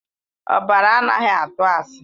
Ọbara anaghị atụ asị.